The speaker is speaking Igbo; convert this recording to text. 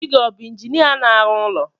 Dị gị o bu injinia na-arụ ụlọ